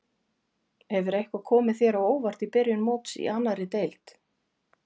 Hefur eitthvað komið þér á óvart í byrjun móts í annarri deildinni?